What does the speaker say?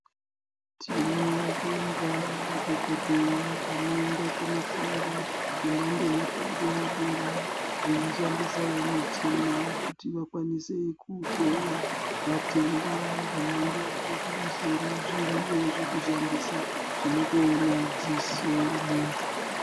Tinobonga madhokodheya anoenda kofunda fundo yepadera dera veishandisawo michina kuti vakwanise kohloya zvitenda zvemhando yepamusoro zviriyo zvekushandisa zvinotoona dziso remuntu.